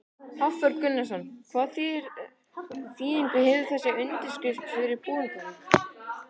Hafþór Gunnarsson: Hvaða þýðingu hefur þessi undirskrift fyrir Bolungarvík?